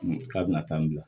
K'a bɛna taa n bila